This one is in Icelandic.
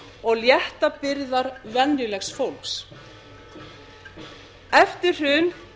og létta byrðar venjulegs fólks eftir hrun